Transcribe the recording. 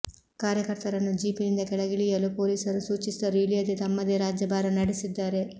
ಕಾರ್ಯಕರ್ತರನ್ನು ಜೀಪಿನಿಂದ ಕೆಳಗಿಳಿಯಲು ಪೊಲೀಸರು ಸೂಚಿಸಿದರೂ ಇಳಿಯದೇ ತಮ್ಮದೇ ರಾಜ್ಯಭಾರ ನಡೆಸಿದ್ದಾರೆ